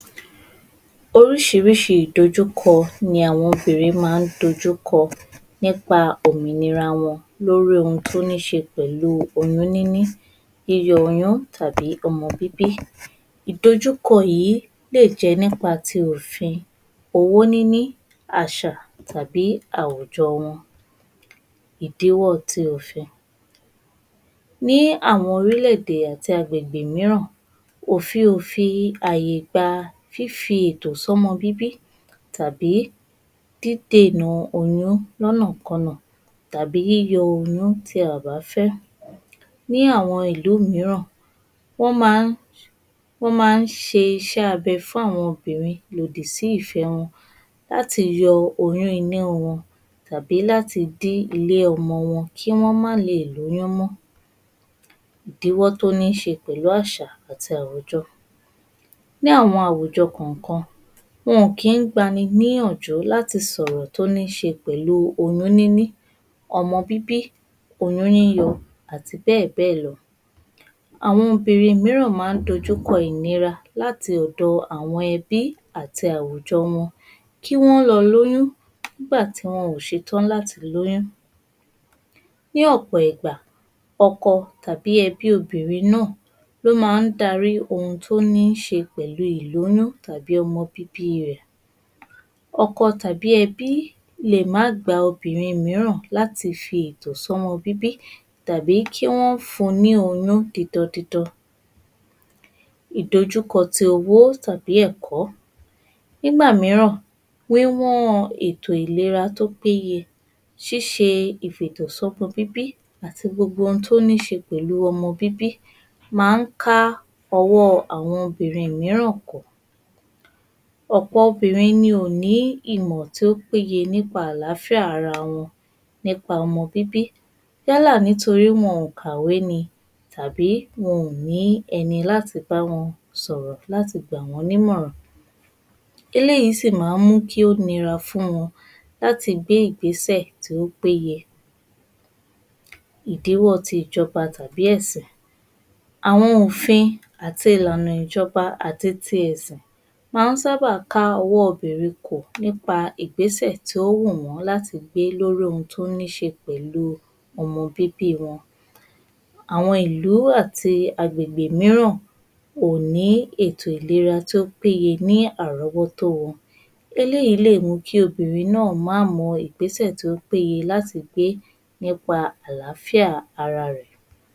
Oríṣiríṣi ìdojúkọ ni àwọn obìnrin máa ń dojú kọ nípa òmìnira wọn lórí ohun tí ó níṣe pẹ̀lú oyún níní, yíyọ oyún tàbí ọmọ bíbí. Ìdojúkọ yìí lè jẹ́ nípa ti òfin, owó níní, àṣà tàbí àwùjọ wọn. Ìdíwọ́ ti òfin, ní àwọn orílẹ̀-èdè àti àgbègbè mìíràn, òfin ò fi àyè gba fífi ètò sọmọ bíbí tàbí dídèna oyún lọ́nà kọnà tàbí yíyọ oyún tí a ò bá fẹ́. Ní àwọn ìlú mìíràn, wọ́n máa ń ṣe iṣẹ́ abẹ fún àwọn obìnrin lòdì sí ìfẹ wọn, láti yọ oyún inú wọn, tàbí láti dí ilé ọmọ wọn kí wọ́n ma leè lóyún mọ́. Ìdíwọ́ tó níṣe pẹ̀lú àṣà àti àwùjọ, ní àwùjọ kọ̀ọ̀kan, wọn ò kí gbani níyànjú láti sọ̀rọ̀ tó níṣe pẹ̀lú oyún níní, ọmọ bíbí, oyún yíyọ àti bẹ́ẹ̀ bẹ́ẹ̀ lọ. Àwọn obìnrin mìíràn máa ń dojú kọ ìnira láti ọ̀dọ̀ àwọn ẹbí àti àwùjọ wọn kí wọ́n lọ lóyún nígbà tí wọn ò ṣe tán láti lóyún. Ní ọ̀pọ̀ ìgbà, ọkọ tàbí ẹbí obìnrin náà ní ó máa dárí ohun tí ó níṣe pẹ̀lú ìlóyún tàbí ọmọ bíbí rẹ̀. Ọkọ tàbí ẹbí lè má gba obìnrin mìíràn láti fi ètò sọmọ bíbí tàbí kí wọ́n fún ní oyún didan didan. Ìdojúkọ tí owó tàbí ẹ̀kọ́, nígbà mìíràn wíwọ́n ètò ìlera tó péye, ṣíṣe ìfètò sọmọ bíbí àti gbogbo ohun tó níṣe pẹ̀lú ọmọ bíbí máa ń ká ọwọ́ àwọn obìnrin mìíràn kò. Ọ̀pọ̀ obìnrin ni wọn ò ní ìmọ̀ tó péye nípa àlàáfíà ara wọn nípa ọmọ bíbí, yálà nítorí wọn ò kàwé ni tàbí wọn ò ní ẹni láti bá wọn sọ̀rọ̀ láti gbà wọ́n nímọ̀ràn. Eléyìí sì máa ń mú kí ó nira fún wọn láti gbé ìgbésẹ̀ tí ó péye. Ìdíwọ́ tí ìjọba tàbí ẹ̀sìn, àwọn òfin àti ìlànà ìjọba tàbí ẹ̀sìn, máa ń sábà ká ọwọ́ obìnrin kò nípa ìgbésẹ̀ tí ó wù wọ́n láti gbé lórí ohun tó níṣe pẹ̀lú ọmọ bíbí wọn, àwọn ìlú àti agbègbè mìíràn kò ní ètò ìlera tó péye ní àrọ́wọ́ tó wọn. Eléyìí lè mú kí obìnrin náà má mọ ìgbésẹ̀ tí ó péye láti gbé nípa àlàáfíà ara rẹ̀.